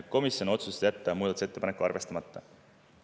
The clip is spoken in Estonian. Komisjon otsustas jätta muudatusettepaneku arvestamata.